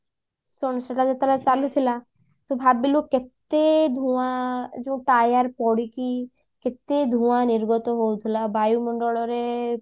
same ସେଟା ଯେତେବେଳେ ଚାଲୁଥିଲା ତୁ ଭାବିଲୁ କେତେ ଧୂଆଁ ଯୋଉ tire ପୋଡିକି କେତେ ଧୂଆଁ ନିର୍ଗତ ହଉଥିଲା ବାୟୁମଣ୍ଡଳ ରେ